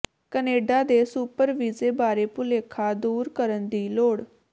Canada ਦੇ super ਵੀਜ਼ੇ ਬਾਰੇ ਭੁਲੇਖਾ ਦੂਰ ਕਰਨ ਦੀ ਲੋੜ